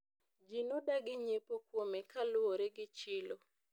ji nodagi nyiepo kuome kaluwore gi chilo